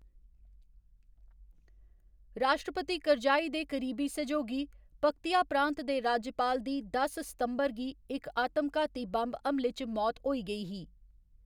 राश्ट्रपति करजाई दे करीबी सैहयोगी, पक्तिया प्रांत दे राज्यपाल दी दस सितंबर गी इक आतम घाती बम्ब हमले च मौत होई गेई ही।